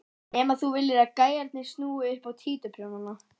Nema þú viljir að gæjarnir snúi upp á títuprjónana!